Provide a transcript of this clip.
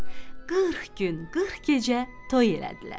Qırx gün, qırx gecə toy elədilər.